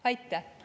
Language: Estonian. Aitäh!